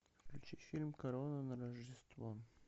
включи фильм корона на рождество